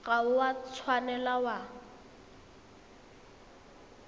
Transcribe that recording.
ga o a tshwanela wa